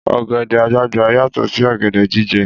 Ọ̀gẹ̀dẹ̀ àgbagbà yàtọ̀ sí ọ̀gẹ̀dẹ̀ jíjẹ